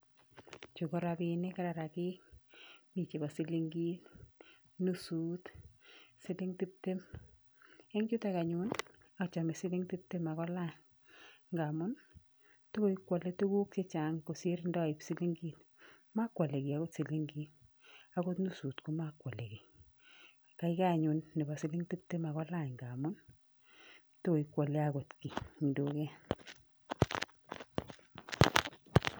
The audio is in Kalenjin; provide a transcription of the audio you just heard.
Chu ko rapiinik rarakik, mi chepo silinkit, nusut siling tiptem. Eng chutok anyun achome siling tiptem akolany ngamun takoikwole tuguk chechang kosir ndoip silinkit. Mokwole kiy akot silinkit, akot nusut ko makwole kiy, kaikai anyun nepo siling tiptem akolany ngamun takoiwole akot kiy eng duket.